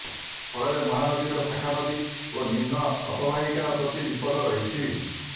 ଫଳରେ ମହାନଦୀର ଶାଖାନଦୀ ଓ ନିମ୍ନ ଅବବାହିକା ପ୍ରତି ବିପଦ ରହିଛି